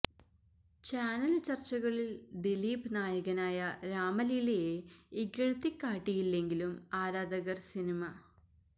channel ചർച്ചകളിൽ ദിലീപ് നായകനായ രാമലീലയെ ഇകഴ്ത്തി കാട്ടിയില്ലെങ്കിലും ആരാധകർ സിനിമ